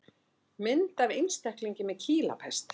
Mynd af einstaklingi með kýlapest.